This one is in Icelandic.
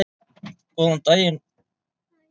Góðan og blessaðan daginn, Maggi minn.